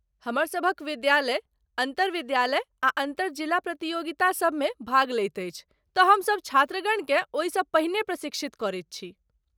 हमरसभक विद्यालय अन्तर विद्यालय आ अन्तर जिला प्रतियोगिता सब मे भाग लैत अछि तँ हमसभ छात्रगणकेँ ओहिसँ पहिने प्रशिक्षित करैत छी।